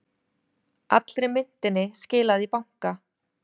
Allri myntinni skilað í banka